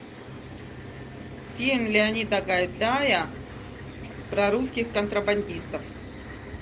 фильм леонида гайдая про русских контрабандистов